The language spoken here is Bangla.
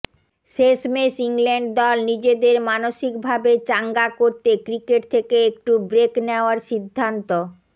শেষমেষ ইংল্যান্ড দল নিজেদের মানসিকভাবে চাঙ্গা করতে ক্রিকেট থেকে একটু ব্রেক নেওয়ার সিদ্ধান্ত